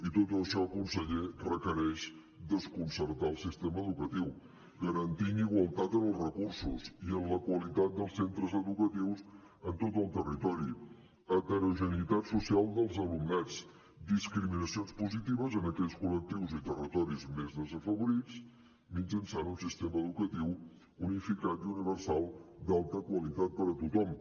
i tot això conseller requereix desconcertar el sistema educatiu garantir igualtat en els recursos i en la qualitat dels centres educatius en tot el territori heterogeneïtat social dels alumnats discriminacions positives en aquells col·lectius i territoris més desafavorits mitjançant un sistema educatiu unificat i universal d’alta qualitat per a tothom